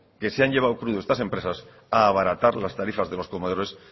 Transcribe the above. que se han llevado crudo estas empresas a abaratar las tarifas de los comedores